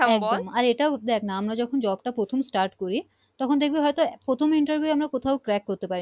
আর এটাও দেখ না আমরা যখন Job টা প্রথম Start করি তখন দেখবি হয়তো প্রথম Interview তে কোথাও Crack পারি